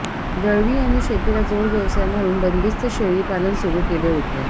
दळवी यांनी शेतीला जोड व्यवसाय म्हणून बंदीस्त शेळी पालन सुरू केले होते